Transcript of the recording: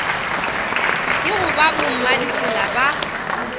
ke go ba bommaditsela ba